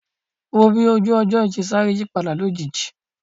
Wò ó bí ojú ọjọ́ yìí ṣe sáré yípadà lójijì